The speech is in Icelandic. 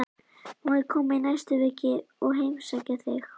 Má ég koma í næstu viku og heimsækja þig?